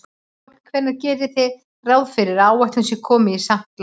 Páll: Hvenær gerið þið ráð fyrir að áætlun sé komin í samt lag?